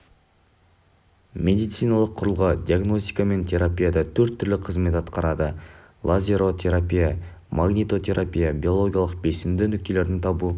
медициналық құрылғы диагностика мен терапияда төрт түрлі қызмет атқарады лазеротерапия магнитотерапия биологиялық белсенді нүктелерді табу